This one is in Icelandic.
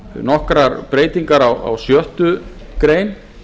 nokkrar breytingar á sjöttu grein